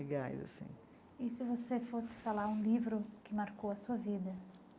Gás assim e se você fosse falar um livro que marcou a sua vida?